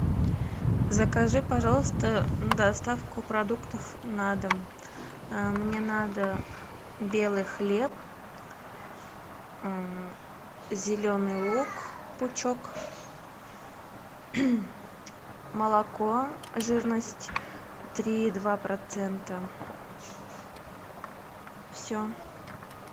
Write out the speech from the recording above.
закажи пожалуйста доставку продуктов на дом мне надо белый хлеб зеленый лук пучок молоко жирность три и два процента все